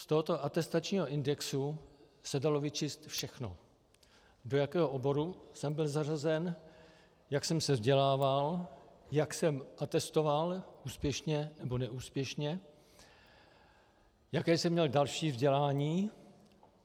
Z tohoto atestačního indexu se dalo vyčíst všechno: do jakého oboru jsem byl zařazen, jak jsem se vzdělával, jak jsem atestoval - úspěšně nebo neúspěšně - jaké jsem měl další vzdělání.